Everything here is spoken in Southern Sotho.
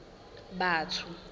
batho